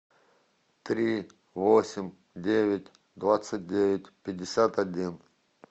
три восемь девять двадцать девять пятьдесят один